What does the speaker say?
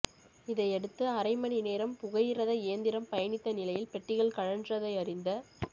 இதையடுத்து அரை மணிநேரம் புகையிரத இயந்திரம் பயணித்த நிலையில் பெட்டிகள் கழன்றதை அறிந்த